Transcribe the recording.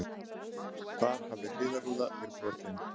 Þar hafði hliðarrúða verið brotin